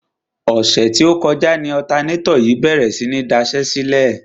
Ọ̀sẹ̀ tí ó kọjá ni ọ̀tanátọ̀ yìí bèrè sí ní daṣẹ́sílẹ̀.